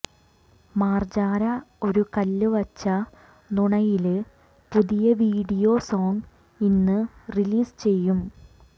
മാർജാര ഒരു കല്ലുവച്ച നുണയിലെ പുതിയ video song ഇന്ന് റിലീസ് ചെയ്യും